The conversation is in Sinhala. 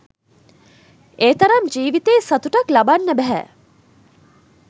ඒ තරම් ජීවිතයේ සතුටක් ලබන්න බැහැ.